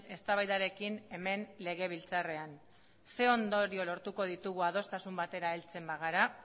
eztabaidarekin hemen legebiltzarrean zein ondorio lortuko ditugu adostasun batera heltzen bagara